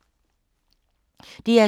DR2